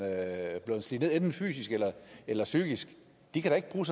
er blevet slidt ned enten fysisk eller eller psykisk kan da ikke bruge